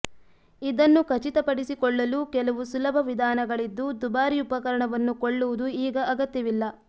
ಇದನ್ನು ಖಚಿತಪಡಿಸಿಕೊಳ್ಳಲು ಕೆಲವು ಸುಲಭ ವಿಧಾನಗಳಿದ್ದು ದುಬಾರಿ ಉಪಕರಣವನ್ನು ಕೊಳ್ಳುವುದು ಈಗ ಅಗತ್ಯವಿಲ್ಲ